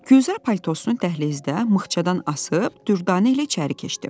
Gülzar paltosunu dəhlizdə mıxçadan asıb Dürdanə ilə içəri keçdi.